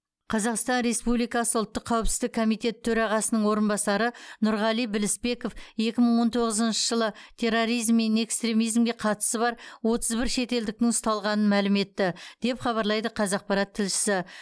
қазақстан республикасы ұлттық қауіпсіздік комитеті төрағасының орынбасары нұрғали білісбеков екі мың он тоғызыншы жылы терроризм мен экстремизимге қатысы бар отыз бір шетелдіктің ұсталғанын мәлім етті деп хабарлайды қазақпарат тілшісі